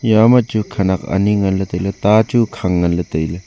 iya ma chu khenek ani ngan ley tailey ta chu khang ngan ley tailey.